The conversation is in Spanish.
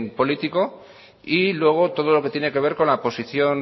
político y luego todo lo que tiene que ver con la posición